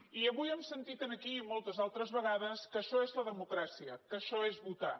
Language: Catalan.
i avui hem sentit aquí i moltes altres vegades que això és la democràcia que això és votar